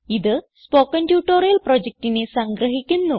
ഇത് spoken tutorial പ്രൊജക്റ്റിനെ സംഗ്രഹിക്കുന്നു